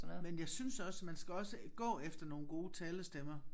Men jeg synes også man skal også gå efter nogle gode talestemmer